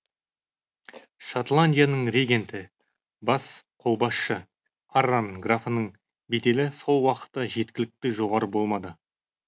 шотландияның регенті бас қолбасшы арран графының беделі сол уақытта жеткілікті жоғары болмады